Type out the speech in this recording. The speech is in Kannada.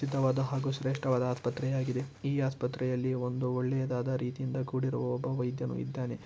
ಸಿದ್ಧವಾದ ಹಾಗು ಶ್ರೇಷ್ಟವಾದ ಆಸ್ಪತ್ರೆ ಆಗಿದೆ. ಈ ಆಸ್ಪತ್ರೆಯಲ್ಲಿ ಒಂದು ಒಳ್ಳೆಯದಾದ ರೀತಿಯಿಂದ ಕೂಡಿರುವ ಒಬ್ಬ ವೈದ್ಯನು ಇದ್ದಾನೆ.